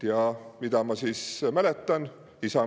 Ja mida ma mäletan?